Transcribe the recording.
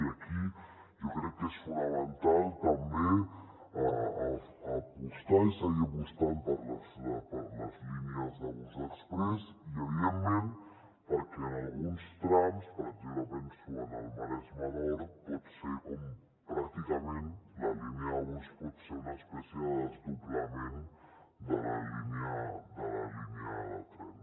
i aquí jo crec que és fonamental també seguir apostant per les línies de bus exprés i evidentment perquè en alguns trams per exemple penso en el maresme nord pràcticament la línia de bus pot ser una espècie de desdoblament de la línia de tren